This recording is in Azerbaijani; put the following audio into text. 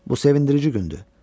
Bu sevindirici gündür.